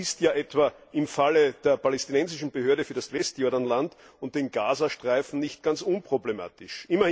Das ist ja etwa im Falle der Palästinensischen Behörde für das Westjordanland und den Gazastreifen nicht ganz unproblematisch.